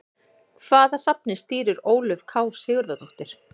Hvaða safni stýrir Ólöf K Sigurðardóttir?